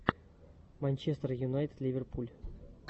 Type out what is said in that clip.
манчестер юнайтед ливерпуль